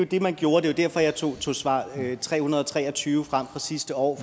det man gjorde det var derfor jeg tog svar tre hundrede og tre og tyve fra sidste år